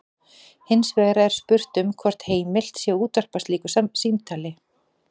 Hins vegar er spurt um hvort heimilt sé að útvarpa slíku símtali.